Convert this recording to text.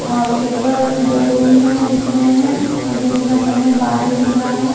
और ऊपर दो रूम हैं दिख रहे हैं दिन का समय बादल दिख रहा--